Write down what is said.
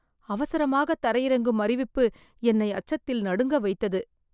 அவசரமாக தரையிறங்கும் அறிவிப்பு என்னை அச்சத்தில் நடுங்க வைத்தது.